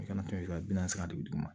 I kana to i ka biyɛn saba de bi duguma